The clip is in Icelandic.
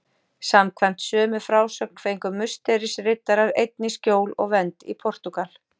Samkvæmt sömu frásögn fengu Musterisriddarar einnig skjól og vernd í Portúgal.